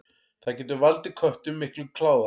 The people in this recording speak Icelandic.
Það getur valdið köttum miklum kláða.